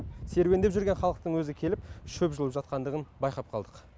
серуендеп жүрген халықтың өзі келіп шөп жұлып жатқандығын байқап қалдық